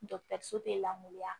so tɛ lakoriya